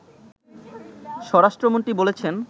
স্বরাষ্ট্রমন্ত্রী বলেছেন